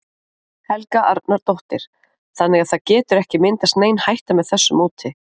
Helga Arnardóttir: Þannig að það getur ekki myndast nein hætta með þessu móti?